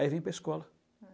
Aí vem para a escola.